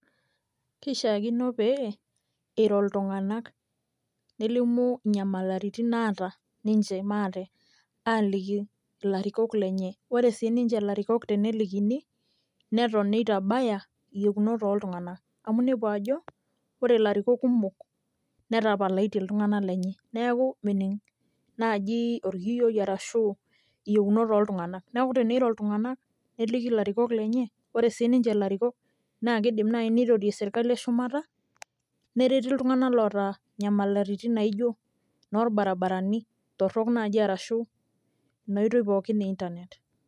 kishakino pee iro iltunganak, nelimu inyamalitin naata maate aaliki ilarikok lenye. ore sii ninche ilarikok tenelikini, neton nitabaya iyieunot ooltunganak amu inepu ajo, ore ilarikok kumok netapalaitie iltunganak lenye, neeku mening naaji orkiyioi arshu iyeunot ooltunganak. neeku teniro iltungank neliki ilarikok lenye, ore ssii ninche ilarikok nakidim naji neirorie sirkali eshumata, nereti iltunganak loota inyamalitin naijo inoorbaribarani, torok naaji arashu ina oitoi pookin e internet